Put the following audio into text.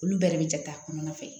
Olu bɛɛ de bɛ jate a kɔnɔna fɛ